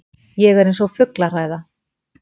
Ég er eins og fuglahræða.